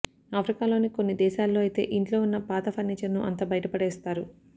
ఆఫ్రికాలోని కొన్ని దేశాల్లో అయితే ఇంట్లో ఉన్న పాత ఫర్నీచర్ను అంతా బయటపడేస్తారు